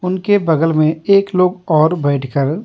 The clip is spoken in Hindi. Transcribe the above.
उनके बगल में एक लोग और बैठकर --